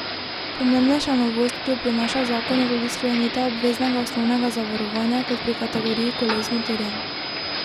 Pomembnejša novost, ki jo prinaša zakon, je tudi sklenitev obveznega osnovnega zavarovanja kot pri kategoriji koles z motorjem.